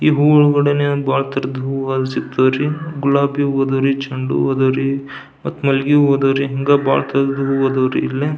ಈ ಹೂವಿನ ಗಿಡನೆ ಬಹಳ ತರದ್ ಹೂಗಳು ಸಿಗ್ತಾವ್ ರೀ ಗುಲಾಬಿ ಹೂವು ಅದರಿ ಚೆಂಡು ಹೂ ಅದರಿ ಮತ್ ಮಲ್ಲಿಗೆ ಹೂ ಅದಾವ್ ರೀ ಬಹಳ ತರದ್ ಹೂಗಳ್ ಅದಾವ್ ರೀ ಇಲ್ಲೇ --